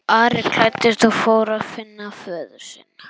Ari klæddist og fór að finna föður sinn.